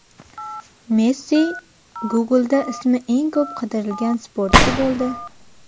Messi Google’da ismi eng ko‘p qidirilgan sportchi bo‘ldi.